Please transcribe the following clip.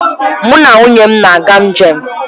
Mụ na nwunye m na-aga njem